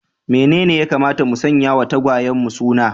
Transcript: Menene ya kamata mu sanya wa tagwayenmu suna?